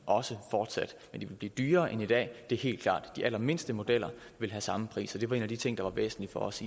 også fortsat men de vil blive dyrere end i dag det er helt klart de allermindste modeller vil have samme pris og det var en af de ting der var væsentlige for os